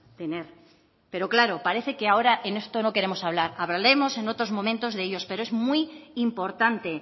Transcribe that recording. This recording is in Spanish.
tener pero claro parece que ahora en este no queremos hablar hablaremos en otros momentos de ellos pero es muy importante